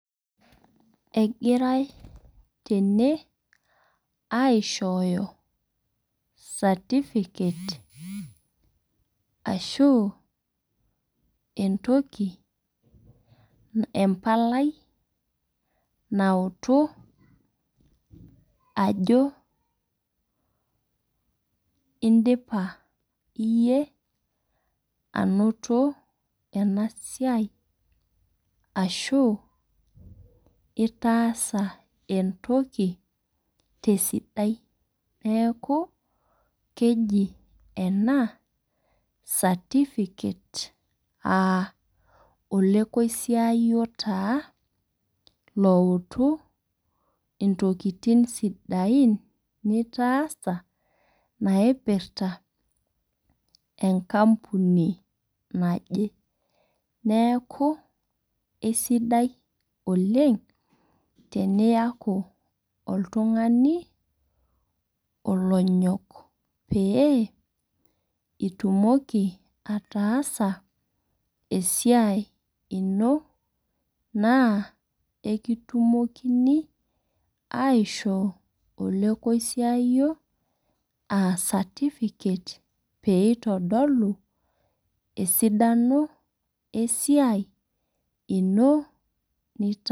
Egirai tene aishoyo certificate ashu entoki embalai nautu ajo idipa iyie anoto enaa siai ashu itaasa entoki tesidai neeku keji ena certificate aa olokoisaiyi taa loutu intokitin sidain nitaasa. Naipirta enkapuni naje. Neeku isidai oleng' teniyaku oltung'ani olonyok pee itumoki atasa esiai inoo naa ekitumokini aisho olekosiayi aa certificate pee itodulu esidano ee saiai ino nitaa